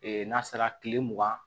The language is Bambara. n'a sera kile mugan